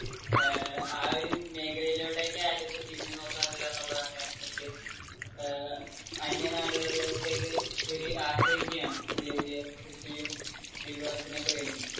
ഏർ ആ ഒരു മേഖലയിലോട്ടെക്ക് ആരും തിരിഞ്ഞുനോക്കാറില്ല എന്നുള്ളതാണ് അതിന്റെ സത്യം. അന്യനാടുകളിലോട്ടെക്ക് ആശ്രയിക്കുകയാണ്. പുതിയ പുതിയ കൃഷിയും വിഭവത്തിനൊക്കെ വേണ്ടി